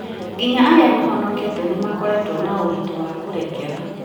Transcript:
Nginya arĩa mahonokete nĩ makoretwo na ũritũ wa kũrekera